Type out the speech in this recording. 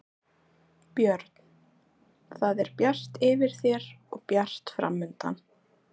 Björn: Það er bjart yfir þér og bjart framundan?